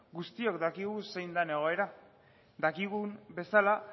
guztiok dakigu zein den egoera dakigun bezala